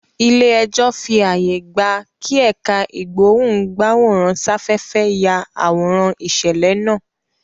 Ilé ẹjọ́ fí ààyè gbà kí ẹ̀ká ìgbóhùn-gbáwòrán-sáfẹ́fẹ́ yá àwòrán ìṣẹ̀lẹ̀ náà